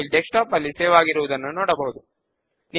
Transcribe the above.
2 వ స్టెప్ లో ఒక సబ్ఫార్మ్ ను సెట్ అప్ చేద్దాము